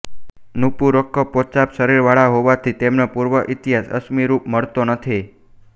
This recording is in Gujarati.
નૂપુરકો પોચા શરીરવાળા હોવાથી તેમનો પૂર્વઈતિહાસ અશ્મિરૂપે મળતો નથી